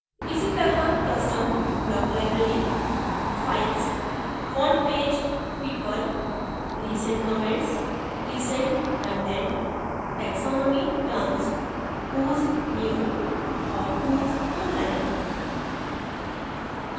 इसी तरह custom block library files frontpage people recent comments recent content taxonomy terms whos new और whos online